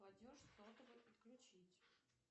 платеж сотовый отключить